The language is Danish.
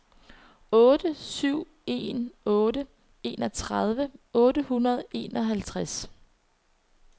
otte syv en otte enogtredive otte hundrede og enoghalvtreds